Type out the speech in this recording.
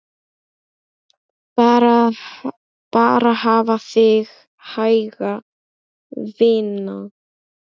Bara hafa þig hæga, vina.